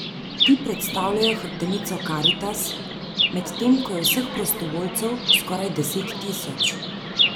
Ti predstavljajo hrbtenico Karitas, medtem ko je vseh prostovoljcev skoraj deset tisoč.